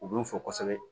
U b'u fo kosɛbɛ